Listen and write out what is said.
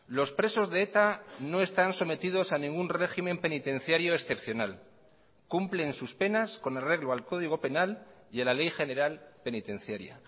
los presos de eta no están sometidos a ningún régimen penitenciario excepcional cumplen sus penas con arreglo al código penal y a la ley general penitenciaria